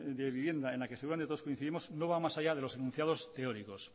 de vivienda en la que seguramente todos coincidimos no va más allá que los enunciados teóricos